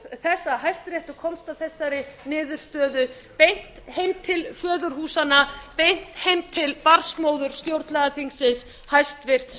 hæstiréttur komst að þessari niðurstöðu beint beint til föðurhúsanna beint heim til barnsmóður stjórnlagaþingsins hæstvirtur